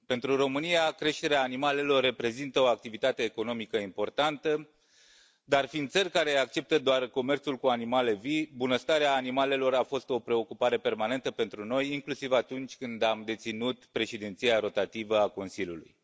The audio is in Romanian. Pentru România, creșterea animalelor reprezintă o activitate economică importantă, dar fiind țări care acceptă doar comerțul cu animale vii, bunăstarea animalelor a fost o preocupare permanentă pentru noi, inclusiv atunci când am deținut Președinția rotativă a Consiliului.